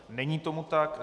Není tomu tak.